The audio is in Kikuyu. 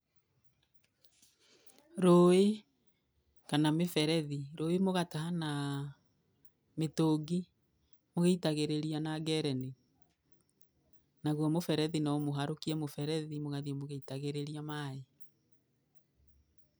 Rũĩ kana mĩberethi, rũĩ mũgataha na mĩtũngi mũgĩitagĩrĩria na ngereni, naguo mũberethi, no mũharũkie mũberethi mũgathiĩ mũgĩitagĩrĩria maĩ.